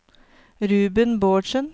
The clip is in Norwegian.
Ruben Bårdsen